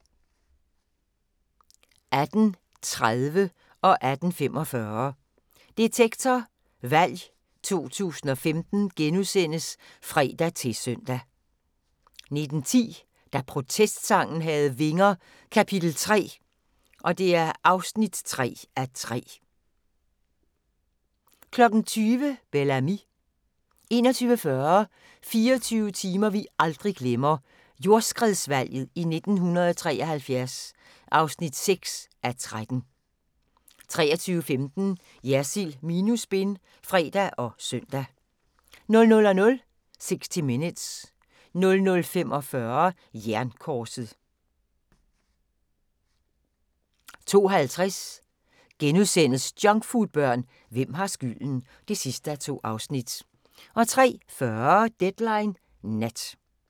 18:30: Detektor – Valg 2015 *(fre-søn) 18:45: Detektor – Valg 2015 *(fre-søn) 19:10: Da protestsangen havde vinger - kap. 3 (3:3) 20:00: Bel Ami 21:40: 24 timer vi aldrig glemmer - Jordskredsvalget i 1973 (6:13) 23:15: Jersild minus spin (fre og søn) 00:00: 60 Minutes 00:45: Jernkorset 02:50: Junkfoodbørn – hvem har skylden? (2:2)* 03:40: Deadline Nat